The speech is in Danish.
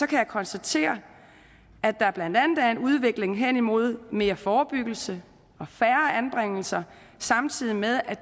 kan jeg konstatere at der blandt andet er en udvikling hen imod mere forebyggelse og færre anbringelser samtidig med at